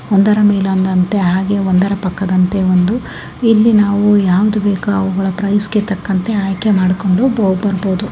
ಒಂದರ ಮೇಲೆ ಒಂದಂತ್ತೆ ಹಾಗೆ ಒಂದರ ಪಕ್ಕದಂತ್ತೆ ಒಂದು ಇಲ್ಲಿ ನಾವು ಯಾವ್ದು ಬೇಕೋ ಅವುಗಳ ಪ್ರೈಸ್ಗೆ ತಂಕಂತೆ ಆಯ್ಕೆ ಮಾಡ್ಕೊಂಡು ಬರಬಹುದು .